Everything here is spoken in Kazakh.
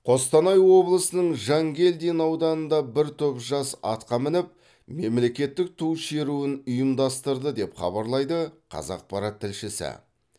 қостанай облысының жангелдин ауданында бір топ жас атқа мініп мемлекеттік ту шеруін ұйымдастырды деп хабарлайды қазақпарат тілшісі